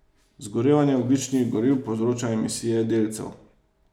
Zgorevanje ogljičnih goriv povzroča emisije delcev.